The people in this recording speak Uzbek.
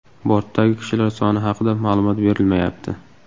Bortdagi kishilar soni haqida ma’lumot berilmayapti.